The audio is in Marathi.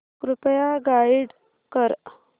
कृपया गाईड कर